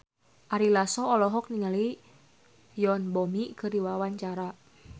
Ari Lasso olohok ningali Yoon Bomi keur diwawancara